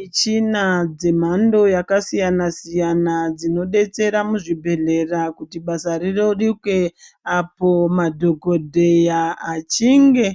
Michina dzemhando yakasiyana-siyana dzinodetsera muzvibhedhlera kuti basa rireruke apo madhogodheya achinge